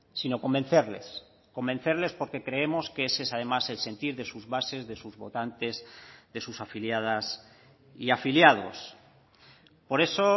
sino convencerles convencerles porque creemos que ese es además el sentir de sus bases de sus votantes de sus afiliadas y afiliados por eso